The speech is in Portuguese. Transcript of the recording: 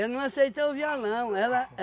não aceitei o violão. Ela